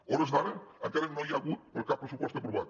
a hores d’ara encara no hi ha hagut cap pressupost aprovat